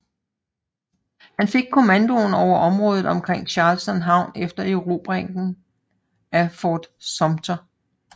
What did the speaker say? Han fik kommandoen over området omkring Charleston havn efter erobringen af Fort Sumter